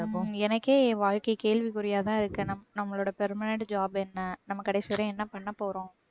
எனக்கே என் வாழ்க்கை கேள்விக்குறியாதான் இருக்கு ஆனா. நம்மளோட permanent job என்ன? நம்ம கடைசி வரைக்கும் என்ன பண்ண போறோம்